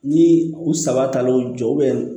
Ni u saba taar'u jɔ